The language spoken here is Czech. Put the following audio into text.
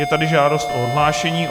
Je tady žádost o odhlášení.